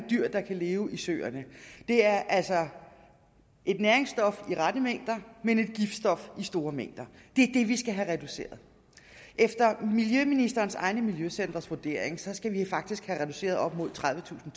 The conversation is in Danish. dyr der kan leve i søerne det er altså et næringsstof i rette mængder men et giftstof i store mængder det er det vi skal have reduceret efter miljøministerens egne miljøcentres vurdering skal vi faktisk have reduceret med op mod tredivetusind